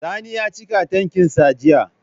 Sani ya cika tankin sa jiya